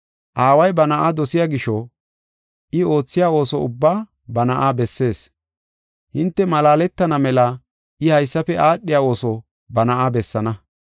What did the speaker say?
Aaway ba Na7aa dosiya gisho I oothiya ooso ubbaa ba Na7aa bessees. Hinte malaaletana mela I haysafe aadhiya ooso ba Na7aa bessaana.